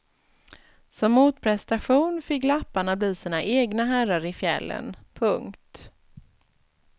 Som motprestation fick lapparna bli sina egna herrar i fjällen. punkt